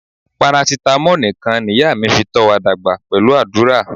Parasitamo nikan niya mi fi to wa dagba pelu adura.